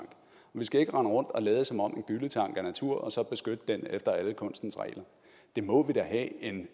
vi skal ikke rende rundt og lade som om en gylletank er natur og så beskytte den efter alle kunstens regler det må vi da have